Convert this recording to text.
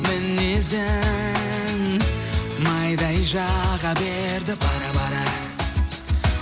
мінезің майдай жаға берді бара бара